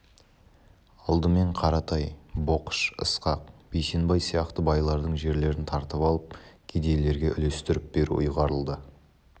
алдымен қаратай боқыш ысқақ бейсенбай сияқты байлардың жерлерін тартып алып кедейлерге үлестіріп беру ұйғарылды